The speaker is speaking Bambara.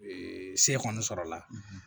se kɔni sɔrɔ la